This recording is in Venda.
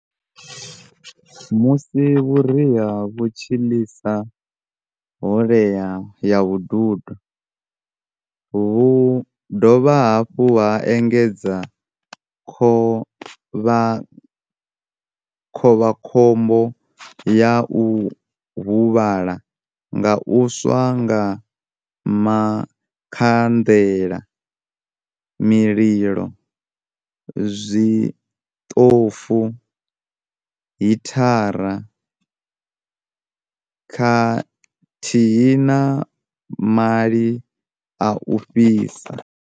Musi vhuriha vhu tshi ḽisa ḽhoḽea ya vhududo, vhu dovha hafhu ha engedza khovhakhombo ya u huvhala nga u swa nga makhanḽela, mililo, zwiḽofu, hithara khathihi na maḽi a u fhisa.